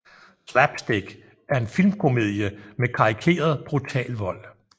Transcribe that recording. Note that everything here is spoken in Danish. Slapstick er en filmkomedie med karikeret brutal vold